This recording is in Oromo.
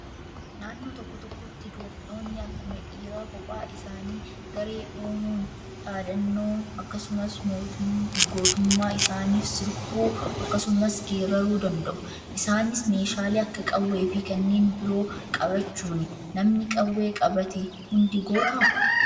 Naannoo tokko tokkotti dubartoonni akkuma dhiiraa kophaa isaanii garee uumuun dhaadannoo akkasumas gootummaa isaaniif sirbuu akkasumas geeraruu danda'u. Isaanis meeshaalee akka qawwee fi kanneen biroo qabachuuni. Namni qawwee qabate hundi gootaa?